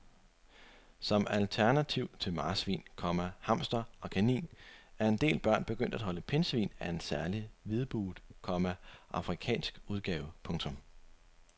Som alternativ til marsvin, komma hamster og kanin er en del børn begyndt at holde pindsvin af en særlig hvidbuget, komma afrikansk udgave. punktum